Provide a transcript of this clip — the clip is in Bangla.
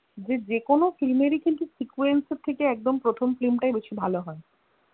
যে যেকোনো film এরই কিন্তু sequence এর থেকে একদম প্রথম film টাই বেশি ভালো হয়